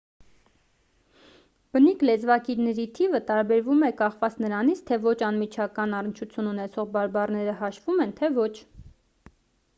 բնիկ լեզվակիրների թիվը տարբերվում է կախված նրանից թե ոչ անմիջական առնչություն ունեցող բարբառները հաշվում են թե ոչ